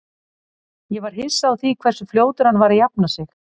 Ég var hissa á því hversu fljótur hann var að jafna sig.